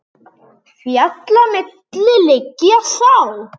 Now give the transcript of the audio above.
Fjalla milli liggja sá.